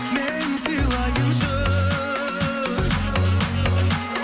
мен сыйлайыншы